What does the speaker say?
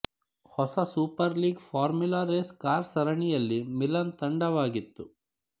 ಹೊಸ super league formula race car ಸರಣಿಯಲ್ಲಿ Milan ತಂಡವಾಗಿತ್ತು